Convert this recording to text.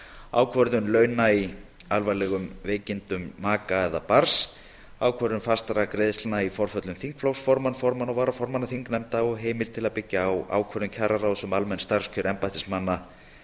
ákvörðun launa í alvarlegum veikindum maka eða barns ákvörðun fastra greiðslna í forföllum þingflokksformanns formanna og varaformanna þingnefnda og heimild til að byggja á ákvörðun kjararáðs um almenn starfskjör embættismanna